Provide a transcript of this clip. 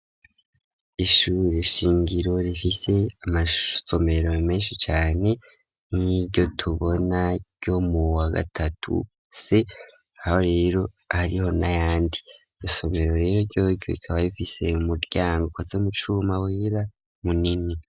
Ishure shingiro, rifise amasomero menshi cane, nk'iryo tubona, ryo mu wa gatatu C, aho rero hariho n'ayandi; iri somero rero ryoryo, rikaba rifise umuryango, ukoze mu cuma, wera, munini.